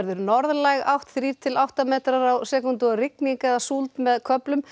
norðlæg átt þrír til átta metrar á sekúndur og rigning eða súld með köflum